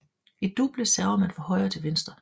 I double server man fra højre til højre